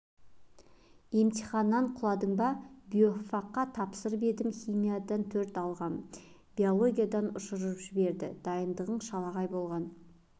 емтиханнан құладың ба биофакқа тапсырып едім химиядан төрт алғам биологиядан ұшырып жіберді дайындығың шалағай болған